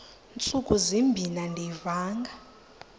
ntsuku zimbin andiyivanga